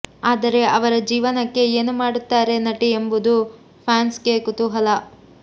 ಆದರೆ ಅವರ ಜೀವನಕ್ಕೆ ಏನು ಮಾಡುತ್ತಾರೆ ನಟಿ ಎಂಬುದು ಫ್ಯಾನ್ಸ್ಗೆ ಕುತೂಹಲ